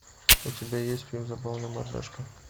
у тебя есть фильм забавная мордашка